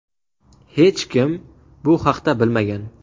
Hech kim bu haqda bilmagan.